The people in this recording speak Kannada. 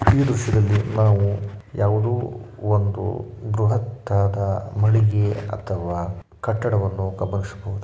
ಈ ಹಸಿರಲೆ ನಾವು ಯಾವುದೋ ಒಂದು ಬೃಹತ್ತಾದ ಮಡಿಗೆ ಅಥವಾ ಕಟ್ಟಡವನ್ನು ಗಮನಿಸಬಹುದು